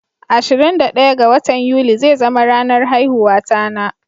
Ashirin da daya ga watan yuli zai zama ranar haihuwata na.